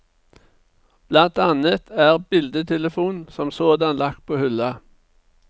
Blant annet er bildetelefonen som sådan lagt på hylla.